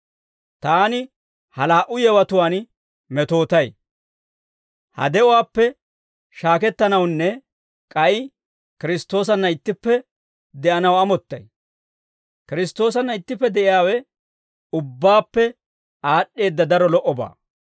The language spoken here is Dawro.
Taani ha laa"u yewatuwaan metootay; ha de'uwaappe shaakettanawunne k'ay Kiristtoosanna ittippe de'anaw amottay; Kiristtoosanna ittippe de'iyaawe ubbaappe aad'd'eedda daro lo"obaa.